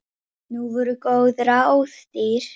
Og þau voru bæði falleg.